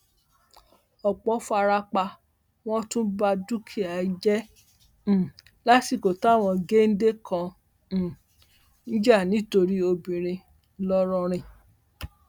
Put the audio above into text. ọpọ fara pa wọn tún ba dúkìá jẹ um lásìkò táwọn géńdé kan um ń jà nítorí obìnrin ńlọrọrìn